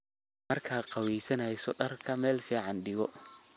Marka qaweysaneyso dharka Mel ficn digo.